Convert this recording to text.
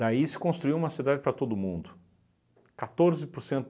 Daí se construiu uma cidade para todo mundo. Quatorze por cento